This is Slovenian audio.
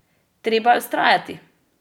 Treba je vztrajati!